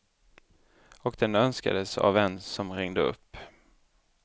Och den önskades av en som ringde upp.